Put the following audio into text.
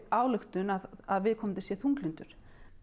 ályktun að viðkomandi sé þunglyndur